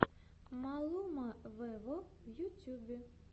малума вево в ютьюбе